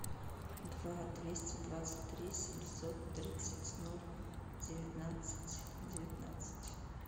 два двести двадцать три семьсот тридцать ноль девятнадцать девятнадцать